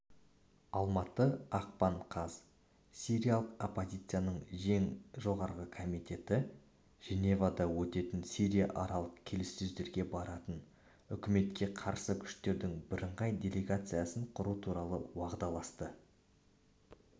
алматы ақпан қаз сириялық оппозицяның ең жоғарғы комитеті женевада өтетін сирияаралық келіссөздерге баратын үкіметке қарсы күштердің бірыңғай делегациясын құру туралы уағдаласты